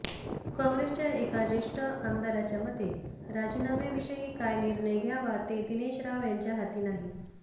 काँग्रेसच्या एका ज्येष्ठ आमदाराच्या मते राजीनाम्याविषयी काय निर्णय घ्यावा ते दिनेश राव यांच्या हाती नाही